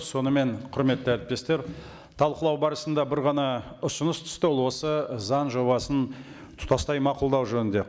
сонымен құрметті әріптестер талқылау барысында бір ғана ұсыныс түсті ол осы заң жобасын тұтастай мақұлдау жөнінде